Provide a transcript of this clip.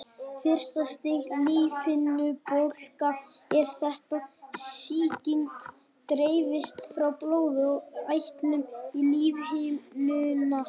Fyrsta stigs lífhimnubólga er þegar sýking dreifist frá blóði og eitlum í lífhimnuna.